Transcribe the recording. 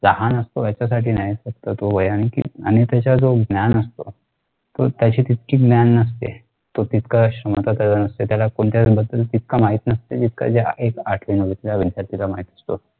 लहान असते त्याच्यासाठी नाही. फक्त तो वयाने. आणि त्याचा जो ज्ञान असतो तो त्याची तितकी ज्ञान नसते. तो तितका नसतो त्याला कोणत्या बद्दल तितक माहित नसते जितक ज्या आठवी नववीच्या विद्यार्थ्याला माहित असतो.